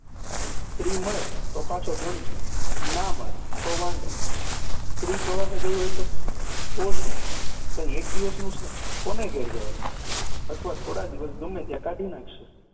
સ્ત્રી મળે તો પાછો ધણી અને ના મળે તો વાંઢો. સ્ત્રી પ્રવાસે ગઈ હોય તો? તો શું કંઈ એક દિવસનું છે, કોને ઘેર જવાય અથવા થોડા દિવસ ગમે ત્યાં કાઢી નાખશે